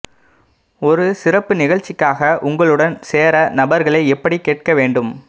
ஒரு சிறப்பு நிகழ்ச்சிக்காக உங்களுடன் சேர நபர்களை எப்படி கேட்க வேண்டும்